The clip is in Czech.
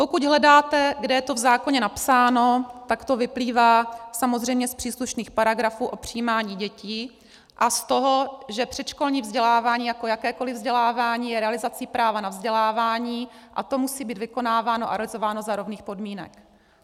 Pokud hledáte, kde je to v zákoně napsáno, tak to vyplývá samozřejmě z příslušných paragrafů o přijímání dětí a z toho, že předškolní vzdělávání jako jakékoliv vzdělávání je realizací práva na vzdělávání a to musí být vykonáváno a realizováno za rovných podmínek.